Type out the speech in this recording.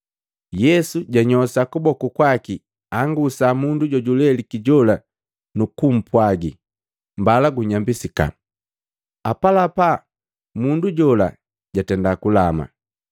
Yesu jwanyosha kuboku kwaki angusa mundu jojuleliki jola nukumpwagi, “Mbala gunyambisika.” Apalapa mundu jola jatenda kulama.